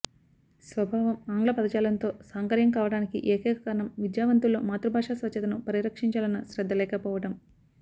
స్వభావం ఆంగ్లపదజాలంతో సాంకర్యం కావడానికి ఏకైక కారణం విద్యావంతుల్లో మాతృభాషా స్వచ్ఛతను పరిరక్షించాలన్న శ్రద్ధ లేకపోవడం